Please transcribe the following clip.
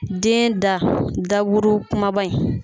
Den da daburu kumaba in.